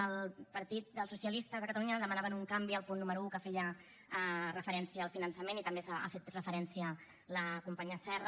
el partit dels socialistes a catalunya demanaven un canvi al punt número un que feia referència al finançament i també n’ha fet referència la companya serra